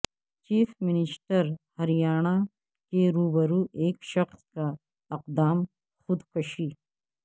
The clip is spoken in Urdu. چیف منسٹر ہریانہ کے روبرو ایک شخص کا اقدام خودکشی